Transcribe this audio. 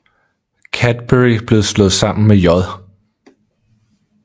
Cadbury blev slået sammen med J